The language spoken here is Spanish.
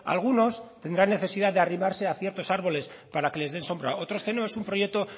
algunos tendrán necesidad de arrimarse a ciertos arboles para que les den sombra otros tenemos un proyecto